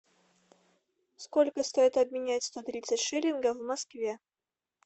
сколько стоит обменять сто тридцать шиллингов в москве